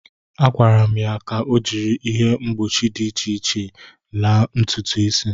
Akwara'm ya ka o jiri ihe mgbochi dị iche laa'm ntụtụ isi.